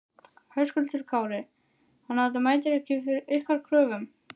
Höskuldur Kári: Þannig að þetta mætir ekki ykkar kröfum?